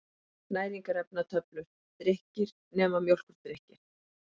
Næringarefnatöflur: Drykkir, nema mjólkurdrykkir.